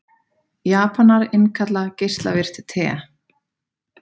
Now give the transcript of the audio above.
Japanar innkalla geislavirkt te